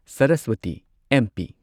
Saraswati MP